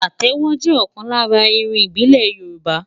Pàtẹ́wọ́ jẹ́ ọ̀kan lára irun ìbílẹ̀ Yorùbá.